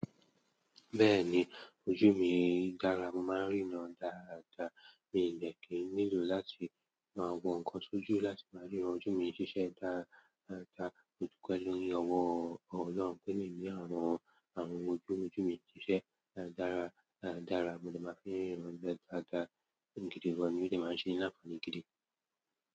Bẹ́ẹ̀ni, ojú mi dára, mo máa ń ríran dáadáa. Mi ò ní dè kì ì nílò láti máa wọ ǹkan sójú láti máa ríran. Ojú mi ń ṣiṣẹ́ dáadáa, mo dúpẹ́ lórí, Ọlọ́run pẹ́ mìí ni àárùn, àárùn ojú, ojú mi ń ṣiṣẹ́ dára dára. Mo dè máa fi ríran dáadáa, gidi gan, ó dè máa ń ṣe mi láǹfààní gidi.